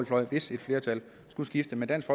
fløj hvis flertallet skulle skifte men dansk